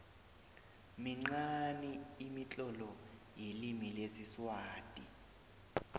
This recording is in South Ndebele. minqani imitlolo yelimi lesiswati